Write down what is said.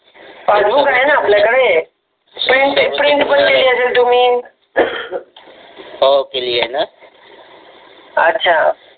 passbook आहे ना आपल्याकडे प्रिंट प्रिंट पण केले असेल तुम्ही हो केलीये ना अच्छा